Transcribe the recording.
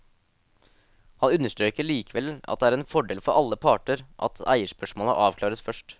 Han understreker likevel at det er en fordel for alle parter at eierspørsmålet avklares først.